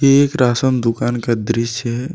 ये एक राशन दुकान का दृश्य है।